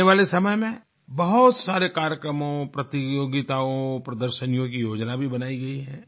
आने वाले समय में बहुत सारे कार्यक्रमों प्रतियोगिताओं प्रदर्शनियों की योजना भी बनाई गई है